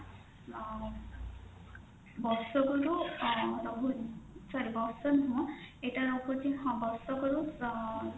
ଆଁ ବର୍ଷକରୁ ଅଂ ଛାଡ sorry ବର୍ଷ ନୁହଁ ଏଇଟା ହଉଛି ହଁ ବର୍ଷକରୁ ଅଂ